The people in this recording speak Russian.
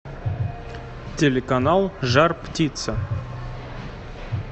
телеканал жар птица